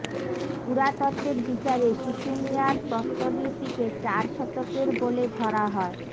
পুরাতত্ত্বের বিচারে শুশুনিয়ার প্রস্তরলিপিকে চার শতকের বলে ধরা হয়